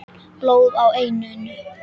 Blóð á enninu.